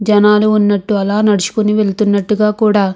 జనాలు ఉన్నట్టు అలా నడుచుకొని వెళ్తున్నటుగా కూడా.